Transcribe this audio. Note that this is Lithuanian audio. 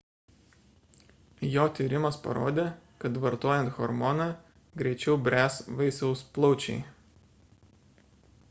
jo tyrimas parodė kad vartojant hormoną greičiau bręs vaisiaus plaučiai